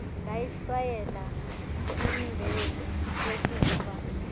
ndayihlwayela imbewu yokufa